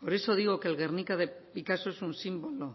por eso digo que el guernica de picasso es un símbolo